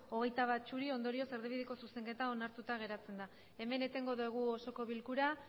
hogeita bat ondorioz erdibideko zuzenketa onartuta geratzen da hemen etengo dugu osoko bilkura